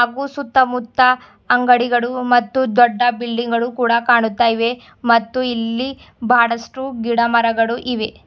ಊರ್ ಸುತ್ತಮುತ್ತ ಅಂಗಡಿಗಳು ಮತ್ತು ದೊಡ್ಡ ಬಿಲ್ಡಿಂಗ್ ಗಳು ಕೂಡ ಕಾಣುತ್ತ ಇವೆ ಮತ್ತು ಇಲ್ಲಿ ಬಹಳಷ್ಟು ಗಿಡ ಮರಗಳು ಇವೆ.